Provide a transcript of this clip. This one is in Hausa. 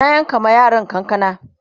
na yanka ma yaran kanakana